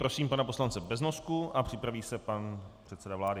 Prosím pana poslance Beznosku a připraví se pan předseda vlády.